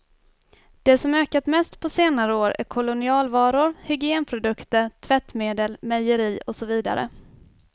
Det som ökat mest på senare år är kolonialvaror, hygienprodukter, tvättmedel, mejeri och så vidare.